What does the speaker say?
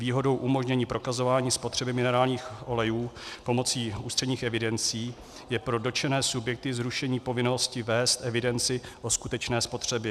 Výhodou umožnění prokazování spotřeby minerálních olejů pomocí ústředních evidencí je pro dotčené subjekty zrušení povinnosti vést evidenci o skutečné spotřebě.